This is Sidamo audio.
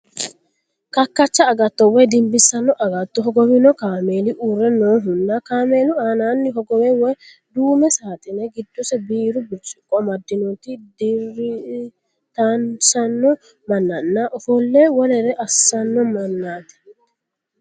Kakkacha agatto woy dimbissanno agatto hogowino kaameeli uurre noohunna kaameelu aaninni hogowo woy duume saaxine giddose biiru birciqqo amaddinota dirtisanno mannanna ofolle wolere assanno mannaati.